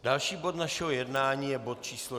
Další bod našeho jednání je bod číslo